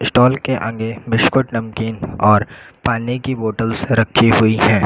Toll के आगे biscuit नमकीन और पानी की बोटल्स रखी हुई हैं।